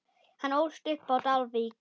Hann ólst upp á Dalvík.